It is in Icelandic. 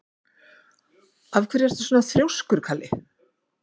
Af hverju ertu svona þrjóskur, Kalli?